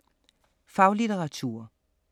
Faglitteratur